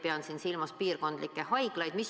Pean siin silmas piirkondlikke haiglaid.